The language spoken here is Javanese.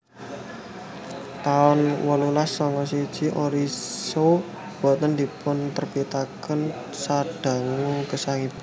taun wolulas sanga siji Orsino Boten dipunterbitaken sadangu gesangipun